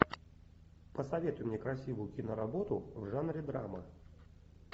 посоветуй мне красивую киноработу в жанре драма